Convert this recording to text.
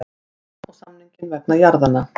Það og samninginn vegna jarðanna.